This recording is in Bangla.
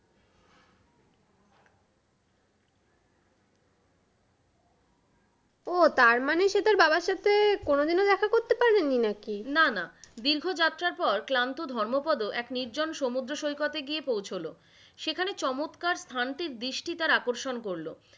ওহ তার মানে সে তার বাবার সাথে কোনদিনও দেখা করতে পারেনি নাকি? না না, দীর্ঘ যাত্রার পর ক্লান্ত ধর্মোপদ এক নির্জন সমুদ্র সৈকতে গিয়ে পৌছোলো। সেখানে চমৎকার স্থানটির দৃষ্টি তার আকর্ষণ করলো,